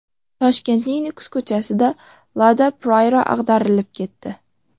Toshkentning Nukus ko‘chasida Lada Priora ag‘darilib ketdi.